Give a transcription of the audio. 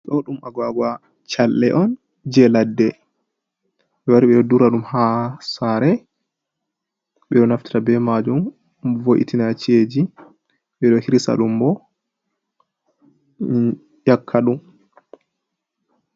Do ɗum agwagwoa challe on je laɗɗe. Be wari be ɗo ɗura ɗum ha sare. Be ɗo naftara be majum vo’itina cie'ji. Be ɗo hirisa ɗum bo nyakadum.